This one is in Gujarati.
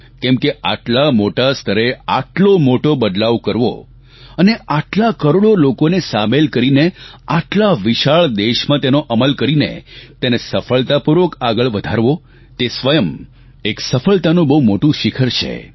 કેમ કે આટલા મોટા સ્તરે આટલો મોટો બદલાવ કરવો અને આટલા કરોડો લોકોને સામેલ કરીને આટલા વિશાળ દેશમાં તેનો અમલ કરીને તેને સફળતાપૂર્વક આગળ વધારવો તે સ્વયં એક સફળતાનું બહુ મોટું શિખર છે